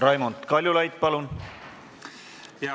Raimond Kaljulaid, palun!